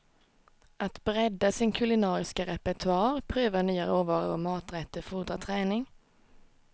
Att bredda sin kulinariska repertoar, pröva nya råvaror och maträtter fordrar träning.